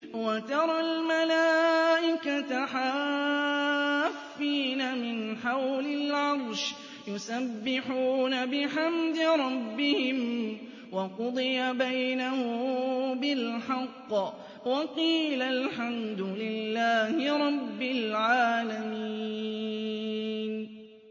وَتَرَى الْمَلَائِكَةَ حَافِّينَ مِنْ حَوْلِ الْعَرْشِ يُسَبِّحُونَ بِحَمْدِ رَبِّهِمْ ۖ وَقُضِيَ بَيْنَهُم بِالْحَقِّ وَقِيلَ الْحَمْدُ لِلَّهِ رَبِّ الْعَالَمِينَ